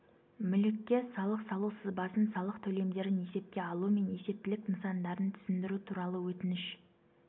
мүлікке салық салу сызбасын салық төлемдерін есепке алу мен есептілік нысандарын түсіндіру туралы өтініш